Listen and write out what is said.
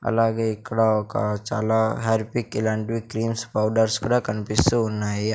అలాగే ఇక్కడ ఒక చాలా హెయిర్ పిక్ ఇలాంటివి క్రీమ్స్ పౌడర్స్ కూడా కనిపిస్తువున్నాయి.